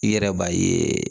I yɛrɛ b'a ye